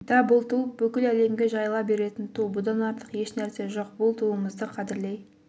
да бұл ту бүкіл әлемге жайыла беретін ту бұдан артық ешнәрсе жоқ бұл туымызды қадірлей